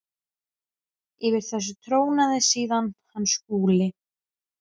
Yfir þessu trónaði síðan hann Skúli.